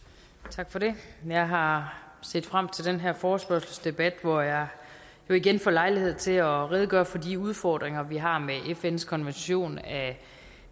tak for det jeg har set frem til den her forespørgselsdebat hvor jeg jo igen får lejlighed til at redegøre for de udfordringer vi har med fns konvention af